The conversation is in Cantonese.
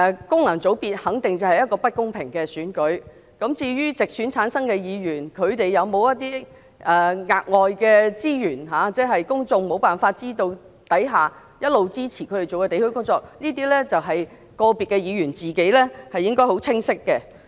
功能界別肯定是不公平的選舉，至於直選產生的議員有沒有額外的資源，在公眾無法知悉的情況下，一直支持他們進行地區工作，這些個別議員自己應該很清楚知道。